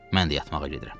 Mən də yatmağa gedirəm.